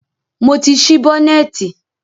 Mo ti ṣí bọ́nẹ̀tì.